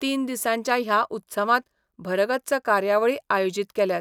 तीन दिसांच्या ह्या उत्सवांत भरगच्च कार्यावळी आयोजीत केल्यात.